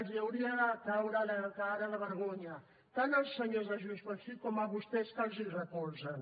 els hauria de caure la cara de vergonya tant als senyors de junts pel sí com a vostès que els recolzen